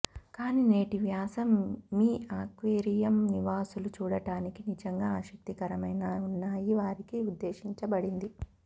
కానీ నేటి వ్యాసం మీ ఆక్వేరియం నివాసులు చూడటానికి నిజంగా ఆసక్తికరమైన ఉన్నాయి వారికి ఉద్దేశించబడింది